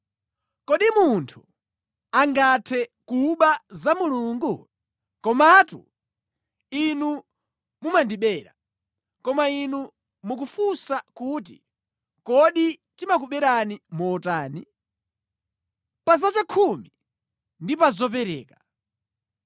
“Kodi munthu angathe kuba za Mulungu? Komatu inu mumandibera. “Koma inu mukufunsa kuti, ‘Kodi timakuberani motani?’ “Pa zakhumi ndi pa zopereka.